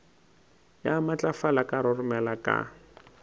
ya matlafala ka roromela ka